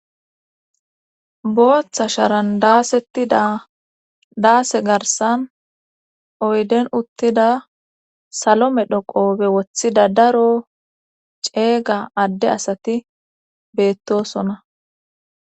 Booththa sharan daasetti daase garsan oyden uttida salome dhoqoobe woththida daro ceega adde asati beettosona.